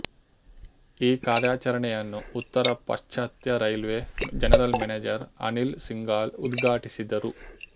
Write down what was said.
ಈ ಕಾರ್ಯಾಚರಣೆಯನ್ನು ಉತ್ತರ ಪಾಶ್ಚಾತ್ಯ railway general manager Anil Singhal ಉದ್ಘಾಟಿಸಿದರು